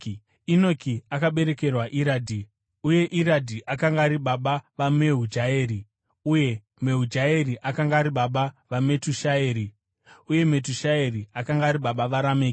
Enoki akaberekerwa Iradhi, uye Iradhi akanga ari baba vaMehujaeri, uye Mehujaeri akanga ari baba vaMetushaeri, uye Metushaeri akanga ari baba vaRameki.